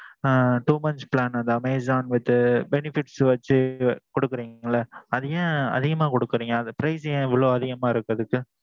two months plan அந்த Amazon with benefits வச்சு குடுக்கிறீங்க ல அதே ஏன் அதிகமா குடுக்குறீங்க அது price ஏன் இவ்வளவு அதிகமா இருக்கு அதுக்கு?